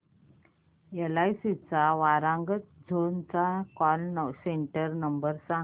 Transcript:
LIC Warangal zone चा call centre number सांग